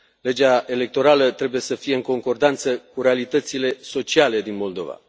Legea electorală trebuie să fie în concordanță cu realitățile sociale din Moldova.